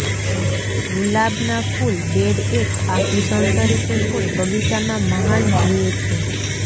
ગુલાબના ફૂલ બેડ એક આભૂષણ તરીકે કોઇ બગીચામાં મહાન જુએ છે